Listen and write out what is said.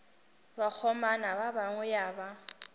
bakgomana ba gagwe ya ba